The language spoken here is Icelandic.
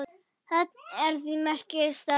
Þetta er því merkur staður.